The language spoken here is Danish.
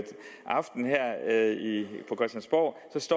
er jyde